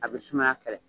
A bɛ suma kɛlɛ